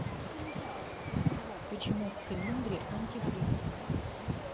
почему в цилиндре антифриз